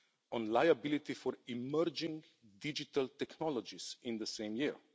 on liability for emerging digital technologies in the same year.